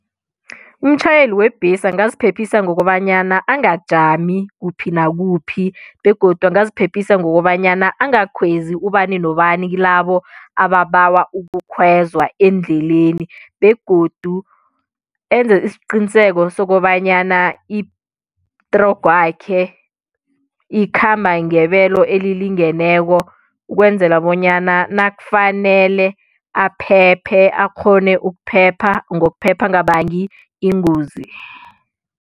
Umtjhayeli webhesi angaziphephisa ngokobanyana angajami kuphi nakuphi begodu angaziphephisa ngokobanyana angakhwezi ubani nobani kilabo ababawa ukukhwezwa endleleni begodu enze isiqiniseko sokobanyana itrogo yakhe ikhamba ngebelo elilingeneko ukwenzela bonyana nakufanele aphephe akghone ukuphepha ngokuphepha angabangi ingozi.